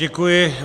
Děkuji.